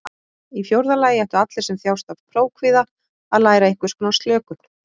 Í fjórða lagi ættu allir sem þjást af prófkvíða að læra einhvers konar slökun.